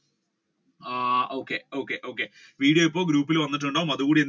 ആഹ് okay okay okay video ഇപ്പോൾ group ഇൽ വന്നിട്ടുണ്ടാകും അതുംകൂടി